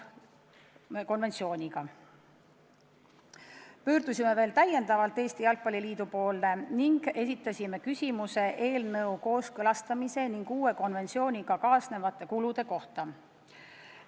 Me pöördusime veel täiendavalt Eesti Jalgpalli Liidu poole, et küsida uue konventsiooniga kaasnevate kulude kohta.